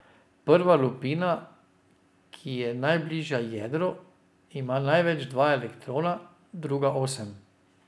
Prva lupina, ki je najbližja jedru, ima največ dva elektrona, druga osem.